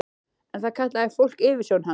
En það kallaði fólk yfirsjón hans.